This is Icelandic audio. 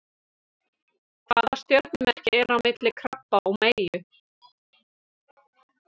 Hvaða stjörnumerki er á milli krabba og meyju?